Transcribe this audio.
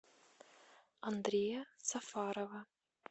андрея сафарова